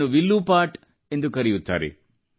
ಇದನ್ನು ವಿಲ್ಲೂ ಪಾಟ್ ಎಂದು ಕರೆಯುತ್ತಾರೆ